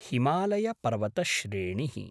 हिमालयपर्वतश्रेणिः